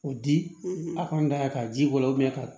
O di a ka n da ka ji k'o la ka